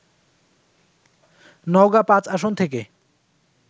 নওগাঁ -৫ আসন থেকে